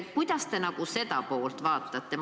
Kuidas te seda poolt vaatate?